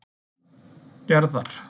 Gerðar